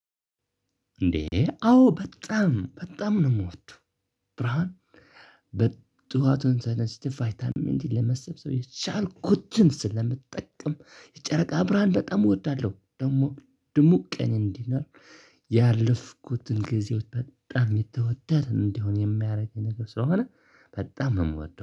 እንዴ አዎ በጣም በጣም ነው የምወደው። ብርሃን በጧቱን ተነስቼ ቫይታሚን ለመሰብሰብ የቻልኩትን ስለምትጠቀም የጨረቃ ብርሃን በጣም እወዳለሁ። ደግሞ ደግሞ ቀን እንዲህ ነው። ያለፍኩትን ጊዜዎች በጣም የተወደደን እንዲሆን የሚያደርግ ነገር ስለሆነ በጣም የምወደው